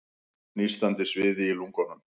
Nístandi sviði í lungunum.